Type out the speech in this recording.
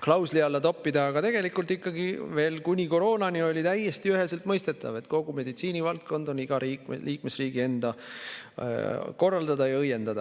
klausli alla toppida, aga tegelikult ikkagi veel kuni koroonani oli täiesti üheselt mõistetav, et kogu meditsiinivaldkond on iga liikmesriigi enda korraldada ja õiendada.